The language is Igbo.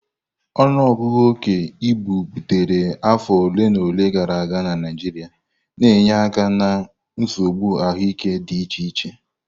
Ọnụọgụ oke ibu bilitere afọ ole na ole gara aga na Naijiria, na-enye aka na nsogbu ahụike dị iche iche.